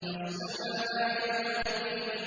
يَصْلَوْنَهَا يَوْمَ الدِّينِ